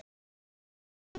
Stórsigur hjá Fram